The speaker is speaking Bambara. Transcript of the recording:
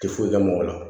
Tɛ foyi kɛ mɔgɔ la